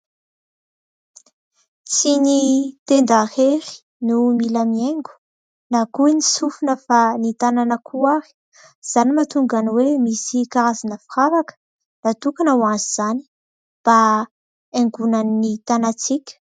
Tsy ny tenda irery no mila mihaingo na koa ny sofina, fa ny tanana koa ary. Izany no mahatonga ny hoe misy karazana firavaka natokana ho an'izany mba hanaingoina ny tanantsika.